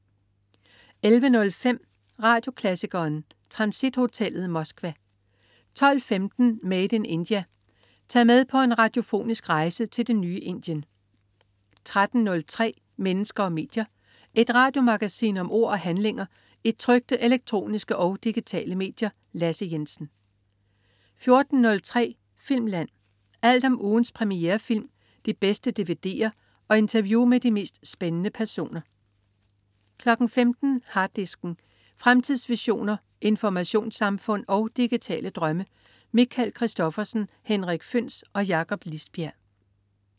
11.05 Radioklassikeren. Transithotellet, Moskva 12.15 Made in India. Tag med på en radiofonisk rejse til det nye Indien 13.03 Mennesker og medier. Et radiomagasin om ord og handlinger i trykte, elektroniske og digitale medier. Lasse Jensen 14.03 Filmland. Alt om ugens premierefilm, de bedste dvd'er og interview med de mest spændende personer 15.00 Harddisken. Fremtidsvisioner, informationssamfund og digitale drømme. Michael Christophersen, Henrik Føhns og Jakob Lisbjerg